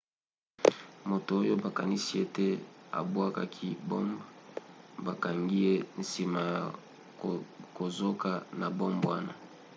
moto oyo bakanisi ete abwakaki bombe bakangaki ye nsima ya kozoka na bombe wana